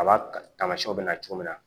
A b'a tamasiyɛnw bɛ na cogo min na